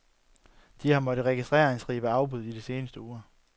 De har måttet registrere en stribe afbud i de seneste uger.